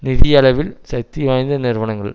நிதியளிவில் சக்தி வாய்ந்த நிறுவனங்கள்